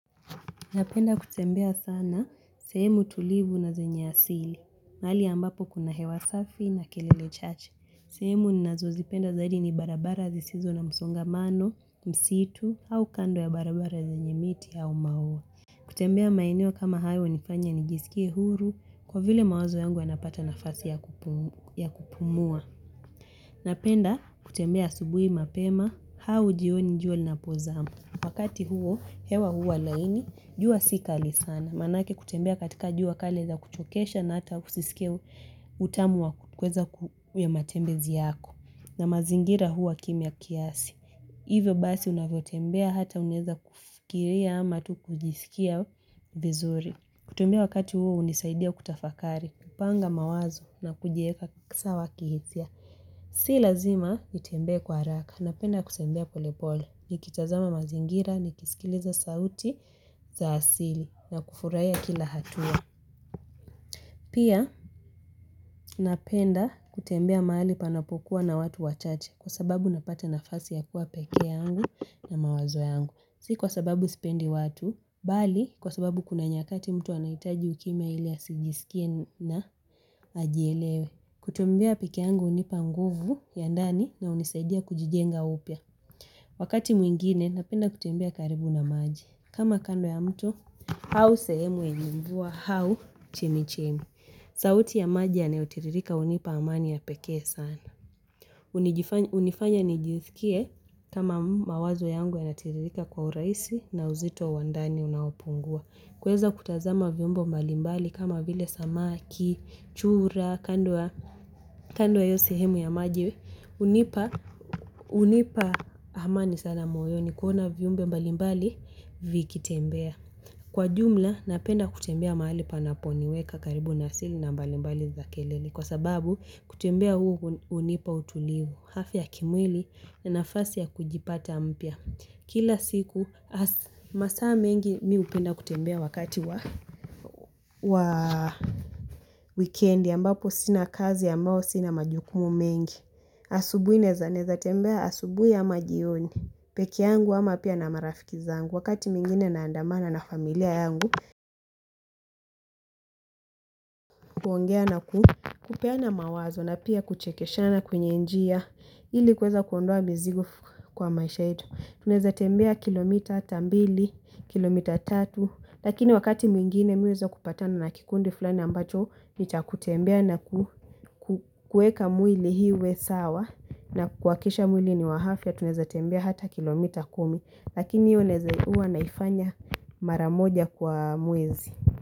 Napenda kutembea sana sehemu tulivu na zenye asili mahali ambapo kuna hewa safi na kelele chache. Sehemu ninazo zipenda zaidi ni barabara zisizo na msongamano, msitu au kando ya barabara zenye miti au maua. Kutembea maeneo kama hayo hunifanya nijisikie huru kwa vile mawazo yangu yanapata nafasi ya kupumua. Napenda kutembea asubuhi mapema au jioni jua linapozama. Wakati huo, hewa huwa laini, jua sikali sana. Manake kutembea katika jua kali yaweza kuchokesha na ata usisike utamu wa kweza ku matembezi yako. Na mazingira huwa kimya kiasi. Hivyo basi unavyo tembea hata unaeza kufikiria ama tu kujisikia vizuri. Kutembea wakati huo hunisaidia kutafakari. Kupanga mawazo na kujieka sawa kihisia. Si lazima nitembe kwa haraka na penda kutembea polepole. Nikitazama mazingira ni kisikiliza sauti za asili na kufurahiya kila hatua. Pia napenda kutembea mahali panapokuwa na watu wachache. Kwa sababu napata nafasi ya kuwa peke yangu na mawazo yangu. Si kwa sababu sipendi watu. Bali kwa sababu kuna nyakati mtu anaitaji ukime ili asigisikie na ajielewe. Kutembea peke yangu hunipa nguvu ya ndani na hunisaidia kujijenga upya. Wakati mwingine napenda kutembea karibu na maji. Kama kando ya mto, au sehemu yenye mvua, au chemichemi. Sauti ya maji yanayo tiririka hunipa amani ya pekee sana. Hunifanya nijisikie kama mawazo yangu yana tiririka kwa urahisi na uzito wandani unaopungua. Kuweza kutazama viumbe mbalimbali kama vile samaki, chura, kando ya hio sehemu ya maji, hunipa amani sana moyoni kuona viumbe mbalimbali vikitembea. Kwa jumla, napenda kutembea mahali panaponiweka karibu na asili na mbalimbali za kelele. Kwa sababu, kutembea huu hunipa utulivu. Afia ya kimwili na nafasi ya kujipata mpya. Kila siku, masaa mengi mi hupenda kutembea wakati wa. Wikendi ambapo sina kazi ambao, sina majukumu mengi. Asubuhi naeza naeza tembea asubuhi ama jioni. Peke yangu ama pia na marafiki zangu. Wakati mwingine na andamana na familia yangu. Kuongea na kupeana mawazo na pia kuchekeshana kwenye njia ili kuweza kuondoa mizigo kwa maisha yetu. Tunaeza tembea kilomita ata mbili, kilomita tatu. Lakini wakati mwingine mimi huweza kupatana na kikundi fulani ambacho, nicha kutembea na kueka mwili uwe sawa na kuhakikisha mwili ni wa afia. Tuneza tembia hata kilomita kumi. Lakini hiyo naeza, huwa naifanya mara moja kwa mwezi.